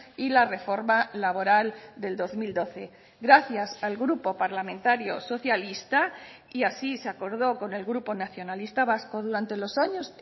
y la reforma laboral del dos mil doce gracias al grupo parlamentario socialista y así se acordó con el grupo nacionalista vasco durante los años